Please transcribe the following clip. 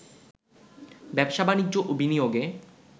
ব্যবসা-বাণিজ্য ও বিনিয়োগে